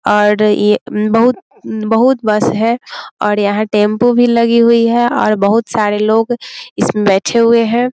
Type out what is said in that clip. और ये अ बहुत बहुत बस है और यहाँ टैम्पू भी लगी हुई है और बहुत सारे लोग इसमें बैठे हुए हैं।